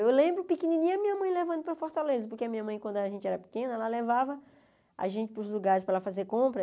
Eu lembro pequenininha a minha mãe levando para a Fortaleza, porque a minha mãe, quando a gente era pequena, ela levava a gente para os lugares para ela fazer compra.